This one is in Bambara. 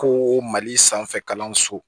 Ko mali sanfɛ kalanso